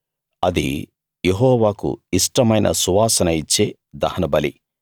అది యెహోవాకు ఇష్టమైన సువాసన ఇచ్చే దహనబలి